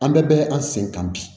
An bɛɛ bɛ an sen kan bi